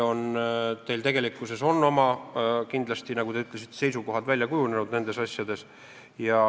Teil on kindlasti, nagu te ütlesite, oma seisukohad nendes asjades välja kujunenud.